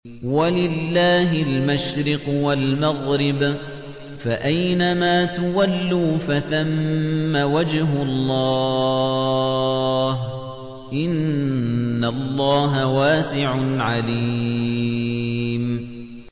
وَلِلَّهِ الْمَشْرِقُ وَالْمَغْرِبُ ۚ فَأَيْنَمَا تُوَلُّوا فَثَمَّ وَجْهُ اللَّهِ ۚ إِنَّ اللَّهَ وَاسِعٌ عَلِيمٌ